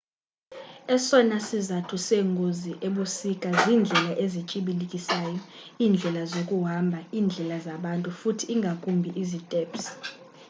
esona sizathu seengozi ebusika ziindlela ezityibilikisayo iindlela zokuhamba indlela zabantu futhi ingakumbi iziteps